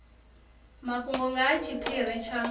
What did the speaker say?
mafhungo nga ha tshiphiri tsha